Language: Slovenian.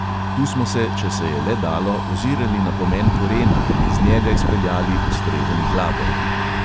Tu smo se, če se je le dalo, ozirali na pomen korena in iz njega izpeljali ustrezen glagol.